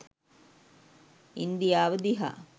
ඉන්දියාව දිහා.